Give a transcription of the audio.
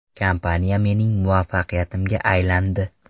Kompaniya mening muvaffaqiyatimga aylandi.